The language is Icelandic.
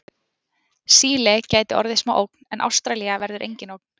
Síle gæti orðið smá ógn en Ástralía verður engin ógn.